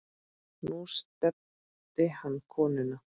Nú nefndi hann konuna